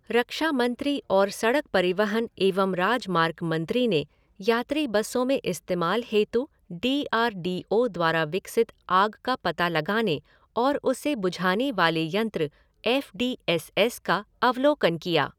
रक्षामंत्री और सड़क परिवहन एवं राजमार्ग मंत्री ने यात्री बसों में इस्तेमाल हेतु डी आर डी ओ द्वारा विकसित आग का पता लगाने और उसे बुझाने वाले यंत्र एफ़ डी एस एस का अवलोकन किया।